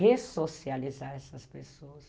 Ressocializar essas pessoas.